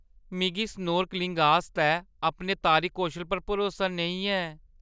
मिगी स्नोर्कलिंग आस्तै अपने तारी- कौशल पर भरोसा नेईं ऐ।